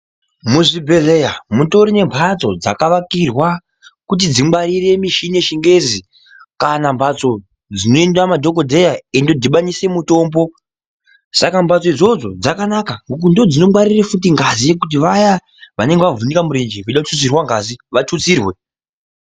Muzvibhedhleya mutorine mhatso dzakavakirwa kuti dzingwarire michini yechingezi. Kana mhatso dzinoenda madhogodheya eindodhibanise mutombo. Saka mbatso idzodzo dzakanaka ngekuti ndodzinongwarire futi ngazi yekuti vaya vanenge vavhunika murenje vachida kututsirwa ngazi ngavatsutsirwe.